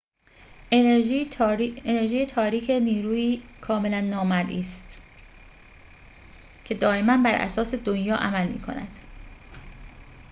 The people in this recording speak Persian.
انرژی تاریک نیرویی کاملاً نامرئی است که دائماً براساس دنیا عمل می‌کند